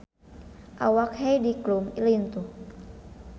Awak Heidi Klum lintuh